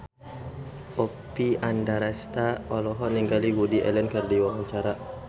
Oppie Andaresta olohok ningali Woody Allen keur diwawancara